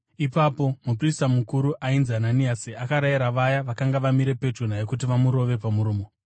Ipapo muprista mukuru ainzi Ananiasi akarayira vaya vakanga vamire pedyo naye kuti vamurove pamuromo.